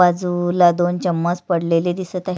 बाजूला दोन चम्मच पडलेले दिसत आहे.